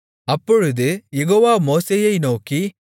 அப்பொழுது யெகோவா மோசேயை நோக்கி